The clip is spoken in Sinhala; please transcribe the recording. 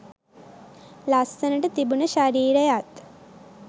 ලස්සනට තිබුණ ශරීරයත්